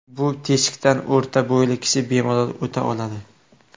Bu teshikdan o‘rta bo‘yli kishi bemalol o‘ta oladi.